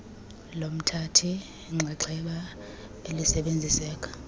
lomthathi nxxaxheba elisebenziseka